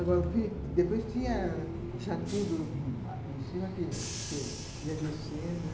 Agora, depois tinha já tudo em cima que ia descendo, né?